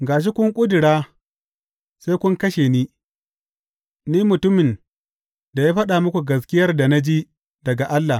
Ga shi kun ƙudura, sai kun kashe ni, ni mutumin da ya faɗa muku gaskiyar da na ji daga Allah.